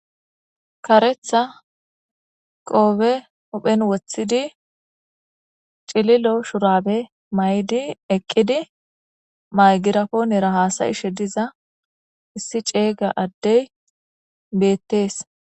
karetha qoobe huphen woththidi cililo shurabe may7di eqqidi maygirapo nera haasayishe diza issi ceeyga addey beettees